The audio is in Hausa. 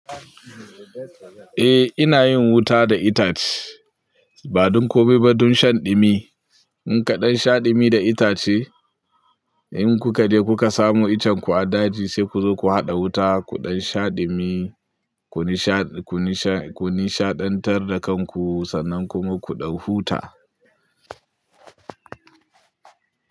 Eh ina yin wuta da itace ba don komai ba, don shan ɗumi. In kaɗan sha ɗumi da itace, in ku ka je ku ka samu iccen ku a daji sai ku zo ku haɗa wuta kuɗan sha ɗumi. Ku nishaɗantar da kanku sannan kuma ku ɗan huta.